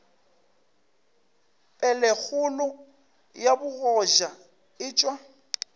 pelokgolo ya bogoja e tšwa